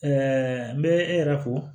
n bɛ e yɛrɛ fo